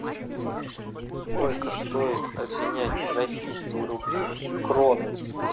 сколько стоит обменять российские рубли в кроны